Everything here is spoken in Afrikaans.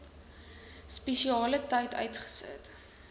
spesiale tyd uitgesit